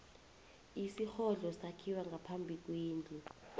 isirhodlo sakhiwa ngaphambi kwendlu